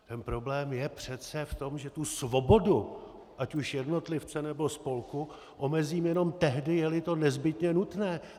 Ten problém je přece v tom, že svobodu ať už jednotlivce, nebo spolku omezím jenom tehdy, je-li to nezbytně nutné.